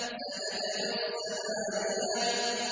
سَنَدْعُ الزَّبَانِيَةَ